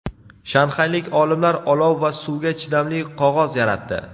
Shanxaylik olimlar olov va suvga chidamli qog‘oz yaratdi.